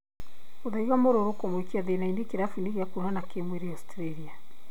mũthaiga mũrũrũ kũmũikia thĩna-inĩ kĩrabu-inĩ gĩa kuonana kĩmwĩrĩ Australia